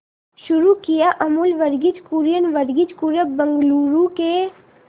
शुरू किया अमूल वर्गीज कुरियन वर्गीज कुरियन बंगलूरू के